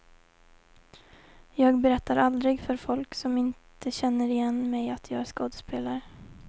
Jag berättar aldrig för folk som inte känner igen mig att jag är skådespelare.